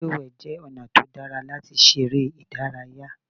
Lílùwẹ̀ jẹ́ ọ̀nà tó dára láti ṣeré ìdárayá.